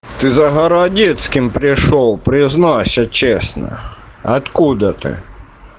ты за городецким пришёл признайся честно откуда ты